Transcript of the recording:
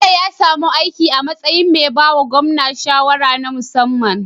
Bello ya sami aiki a matsayin me bawa gwamna shawara na musamman